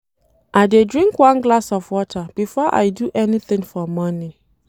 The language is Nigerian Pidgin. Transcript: I dey drink one glass of water before I do anything for morning.